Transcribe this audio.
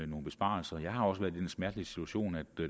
nogle besparelser jeg har også været i den smertelige situation at